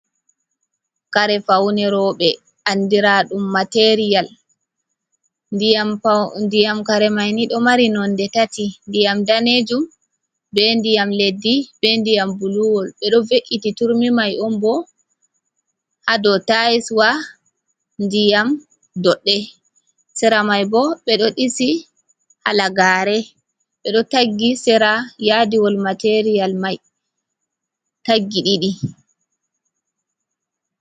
Kare faune rowɓe andira ɗum material. Ndiyam kare mai ni ɗo mari nonde tati ndiyam danejum be ndiyam leddi be ndiyam buluwol. Ɓe ɗo ve’iti turmi mai on bo ha dow taiswa ndiyam doɗɗe. Sera mai bo ɓe ɗo ɗisi halagare ɓe ɗo taggi sera yadiwol materiyal mai taggi ɗiɗi.